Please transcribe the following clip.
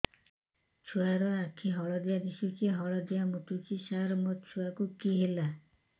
ଛୁଆ ର ଆଖି ହଳଦିଆ ଦିଶୁଛି ହଳଦିଆ ମୁତୁଛି ସାର ମୋ ଛୁଆକୁ କି ହେଲା